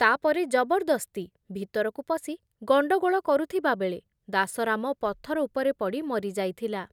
ତାପରେ ଜବରଦସ୍ତି ଭିତରକୁ ପଶି ଗଣ୍ଡଗୋଳ କରୁଥିବାବେଳେ ଦାସରାମ ପଥର ଉପରେ ପଡ଼ି ମରି ଯାଇଥିଲା ।